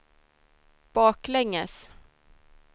baklänges